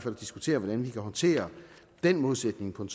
diskutere hvordan vi kan håndtere den modsætning på en